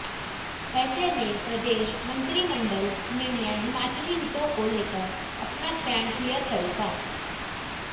ऐसे में प्रदेश मंत्रिमंडल निर्णय हिमाचली हितों को लेकर अपना स्टैंड क्लीयर करेगा